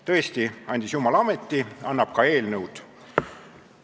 Tõesti, andis jumal ameti, annab ka eelnõud.